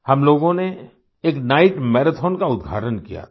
हम लोगों ने एक नाइट मराठों का उद्घाटन किया था